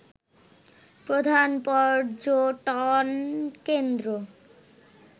প্রধান পর্যটনকেন্দ্র